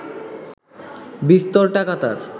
বিস্তর টাকা তার